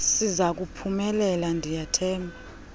sizaku phumelela ndiyathemba